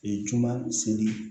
juma seli